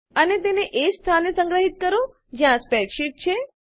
અને તેને એજ સ્થાને સંગ્રહિત કરો જ્યાં સ્પ્રેડશીટ છે